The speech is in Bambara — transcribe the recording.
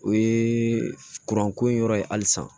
O ye kuranko in yɔrɔ ye halisa